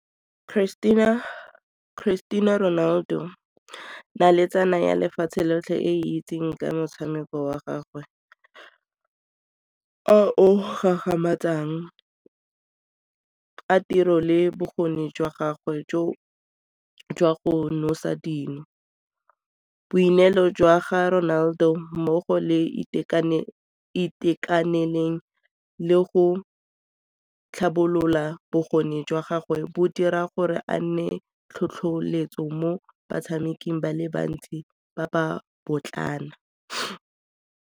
Christine-a Ronaldo, naletsana ya lefatshe lotlhe e e itseng ka motshameko wa gagwe, a o gagamatsang a tiro le bokgoni jwa gagwe jo jwa go nosa dino. Boineelo jwa ga Ronaldo mmogo le itekaneleng le go tlhabolola bokgoni jwa gagwe bo dira gore a nne tlhotlheletso mo batshameking ba le bantsi ba ba .